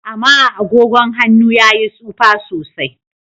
Ama agogon han'nu ya yi tsufa sosai.